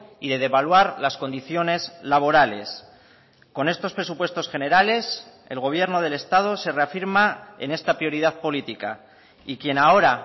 y de devaluar las condiciones laborales con estos presupuestos generales el gobierno del estado se reafirma en esta prioridad política y quien ahora